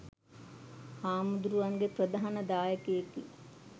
හාමුදුරුවන්ගේ ප්‍රධාන දායකයෙකි.